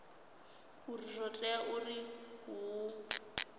uri zwo tea uri hu